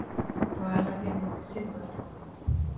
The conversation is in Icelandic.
Dvalarheimilinu Silfurtúni